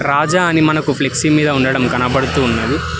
రాజా అని మనకు ఫ్లెక్సీ మీద ఉండడం కనపడుతూ ఉన్నది.